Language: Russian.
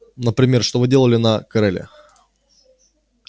например что вы делали на кореле